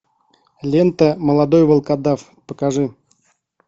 лента молодой волкодав покажи